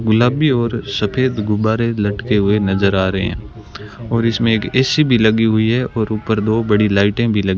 गुलाबी और सफेद गुब्बारे लटके हुए नजर आ रहे हैं और इसमें एक ए_सी भी लगी हुई है और ऊपर दो बड़ी लाइटें भी लगी --